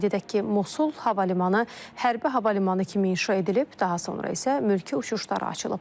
Qeyd edək ki, Mosul hava limanı hərbi hava limanı kimi inşa edilib, daha sonra isə mülki uçuşlara açılıb.